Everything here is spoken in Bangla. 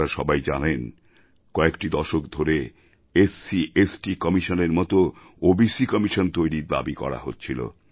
আপনারা সবাই জানেন কয়েক দশক ধরে এসসিস্ট কমিশনের মতো ওবিসি কমিশন তৈরির দাবী করা হচ্ছিল